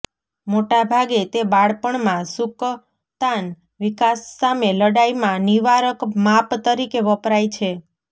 મોટા ભાગે તે બાળપણમાં સુકતાન વિકાસ સામે લડાઈ માં નિવારક માપ તરીકે વપરાય છે